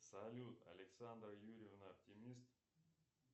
салют александра юрьевна оптимист